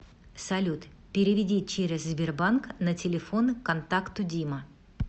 салют переведи через сбербанк на телефон контакту дима